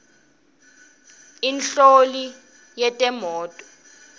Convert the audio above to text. inhloli yetemnotfo